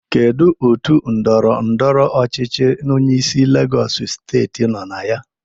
Kedu otu ndọrọ ndọrọ ọchịchị onyeisi Legọs steeti nọ na ya?